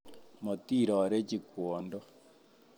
Motirorechi kwondo